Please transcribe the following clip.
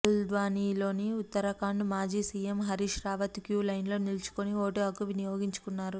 హల్ద్వానిలో ఉత్తరాఖండ్ మాజీ సీఎం హరీశ్ రావత్ క్యూలైన్లో నిల్చుని ఓటు హక్కు వినియోగించుకున్నారు